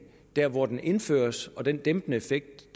dér hvor den indføres men på den dæmpende effekt